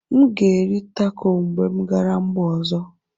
M ga-eri taco mgbe m gara mba ọzọ.